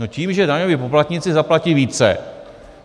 No tím, že daňoví poplatníci zaplatí více.